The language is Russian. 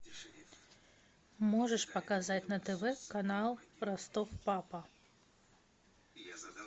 можешь показать на тв канал ростов папа